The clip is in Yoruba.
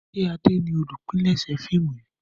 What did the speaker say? ṣe Ade ní olùpilèsè fíìmù yí?